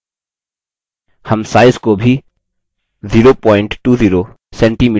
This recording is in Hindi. हम size को भी 020cm में बदल change